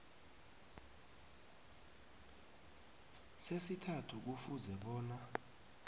sesithathu kufuze bona